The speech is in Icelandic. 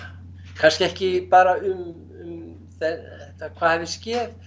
kannski ekki bara um þetta hvað hafi skeð